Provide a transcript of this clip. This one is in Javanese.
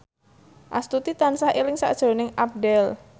Astuti tansah eling sakjroning Abdel